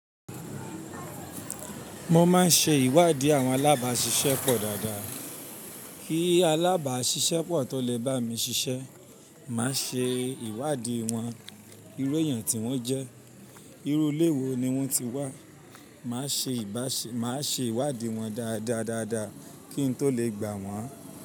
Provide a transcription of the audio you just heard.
Mo máa ń ṣe ìwádìí àwọn alábàáṣiṣẹ́ pọ̀ dáadáa. Kí alábàáṣiṣẹ́ pọ̀ tó lè bá mi ṣiṣẹ́. Máa ṣe ìwádìí wọn, irú èèyàn tí wọ́n jẹ́, irú ilé wo ni wọ́n ti wá. Máa ṣe ìwádìí wọn dáadáa dáadáa kí n tó lè gbà wọ́n.